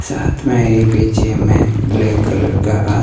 साथ में ही पीछे हमें ब्लैक कलर का --